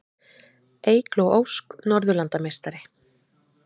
Eygló Ósk Norðurlandameistari